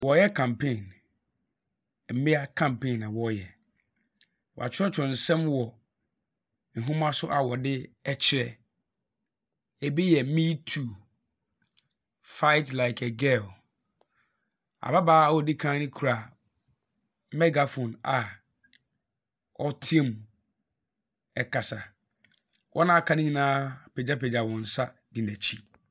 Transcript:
Wɔreyɛ campaign, mmea campaign na wɔreyɛ. Wɔakyerɛwkyerɛw nsɛm wɔ nhoma so a wɔde rekyerɛ. Ebi yɛn me too, Fight like a girl. Ababaawa a ɔdi kan no kura megaphone a ɔretea mu kasa. Wɔn a wɔaka no nyinaa apagyapagya wɔn nsa di n'akyi.